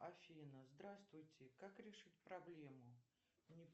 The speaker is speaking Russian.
афина здравствуйте как решить проблему